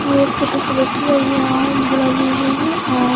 ये एक छोटी सी बच्ची है वो यहां झूला झूल रही है और--